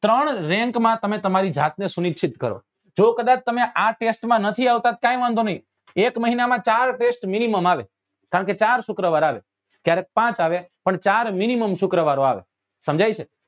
ત્રણ rank માં તમે તમારી જાત ને સુનીક્ષિત કરો જો કદાચ તમે આ test માં નથી આવતા તો કઈ વાંધો નહિ એક મહિના માં ચાર test minimum આવે કારણ કે ચાર શુક્રવાર આવે ક્યારેક પાંચ આવે પણ ચાર mimimum શુક્રવારો આવે સમજાય છે